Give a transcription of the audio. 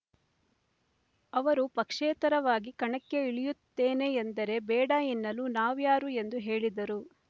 ಅವರು ಪಕ್ಷೇತರವಾಗಿ ಕಣಕ್ಕೆ ಇಳಿಯುತ್ತೇನೆ ಎಂದರೆ ಬೇಡ ಎನ್ನಲು ನಾವ್ಯಾರು ಎಂದು ಹೇಳಿದರು